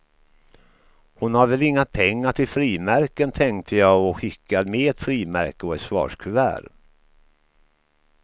Hon har väl inga pengar till frimärken, tänkte jag och skickade med ett frimärke och ett svarskuvert.